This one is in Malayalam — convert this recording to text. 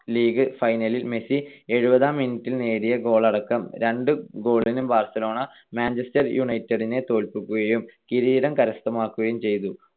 ലീഗ് ഫൈനലിൽ മെസ്സി എഴുപതാം minute നേടിയ goal അടക്കം രണ്ട്‌ goal ന് ബാർസലോണ മാഞ്ചസ്റ്റർ യുണൈറ്റഡിനെ തോൽപ്പിക്കുകയും കിരീടം കരസ്ഥമാക്കുകയും ചെയ്തു.